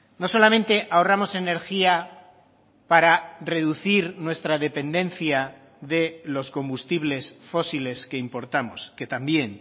no solamente ahorramos energía para reducir nuestra dependencia de los combustibles fósiles que importamos que también